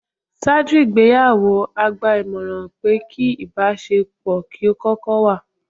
Ṣáájú ìgbéyàwó, a gba ìmọ̀ràn pé kí ìbáṣe pọ̀ kí ó kókó wà.